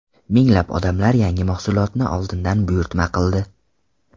Minglab odamlar yangi mahsulotni oldindan buyurtma qildi.